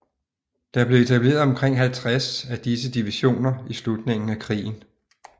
Der blev etableret omkring 50 af disse divisioner i slutningen af krigen